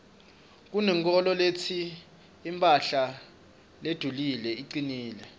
kunenkholo letsi imphahla ledulile icinile